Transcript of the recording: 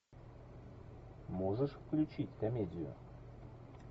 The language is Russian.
можешь включить комедию